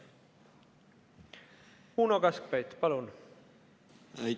Uno Kaskpeit, palun!